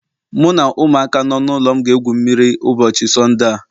Mụ na ụmụaka nọ n'ụlọ m ga-egwu mmiri ụbọchị Sọnde a